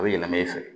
A bɛ yɛlɛma i fɛ